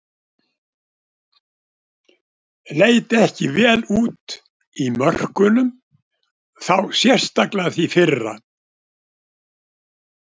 Leit ekki vel út í mörkunum, þá sérstaklega því fyrra.